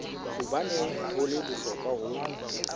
hobaneng ho le bohlokwa ho